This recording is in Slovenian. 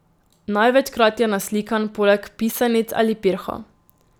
Največkrat je naslikan poleg pisanic ali pirhov.